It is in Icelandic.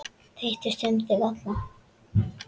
Þeytist um þig allan.